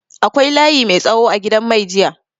Akwai layi mai tsawo a gidan mai jiya.